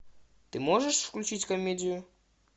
ты можешь включить комедию